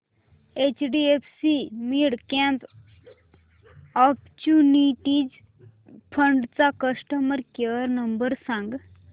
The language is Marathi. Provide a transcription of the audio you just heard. एचडीएफसी मिडकॅप ऑपर्च्युनिटीज फंड चा कस्टमर केअर नंबर सांग